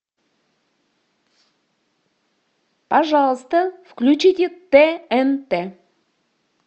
пожалуйста включите тнт